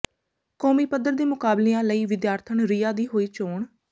ਕੌਮੀ ਪੱਧਰ ਦੇ ਮੁਕਾਬਲਿਆਂ ਲਈ ਵਿਦਿਆਰਥਣ ਰਿਆ ਦੀ ਹੋਈ ਚੋਣ